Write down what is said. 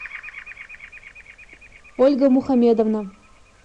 ольга мухамедовна